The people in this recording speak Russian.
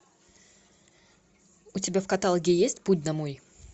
у тебя в каталоге есть путь домой